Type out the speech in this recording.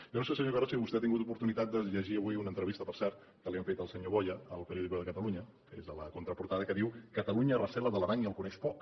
jo no sé senyor carod si vostè ha tingut oportunitat de llegir avui una entrevista per cert que li han fet al senyor boya a el periódico traportada que diu catalunya recela de l’aran i el coneix poc